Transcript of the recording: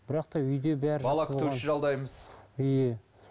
бірақ та үйде бәрі иә